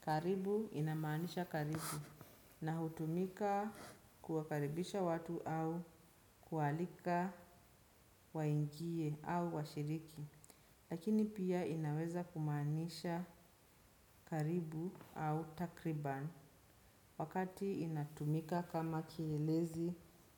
Karibu inamaanisha karibu na hutumika kuwakaribisha watu au kualika waingie au washiriki. Lakini pia inaweza kumaanisha karibu au takriban wakati inatumika kama kielezi